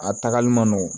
A tagali man nɔgɔn